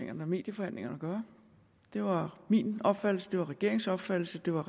eller medieforhandlingerne at gøre det var min opfattelse det var regeringens opfattelse det var